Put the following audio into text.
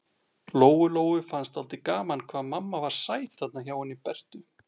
Lóu-Lóu fannst dálítið gaman hvað mamma var sæt þarna hjá henni Bertu.